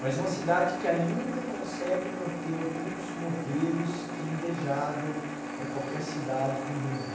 Mas uma cidade que ainda consegue manter alguns modelos que é invejável para qualquer cidade do mundo.